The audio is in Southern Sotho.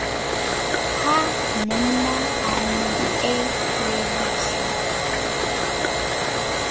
ha monna a mo elelliswa